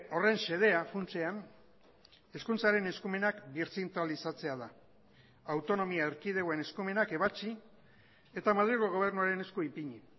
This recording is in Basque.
horren xedea funtsean hezkuntzaren eskumenak birzentralizatzea da autonomia erkidegoen eskumenak ebatzi eta madrilgo gobernuaren esku ipini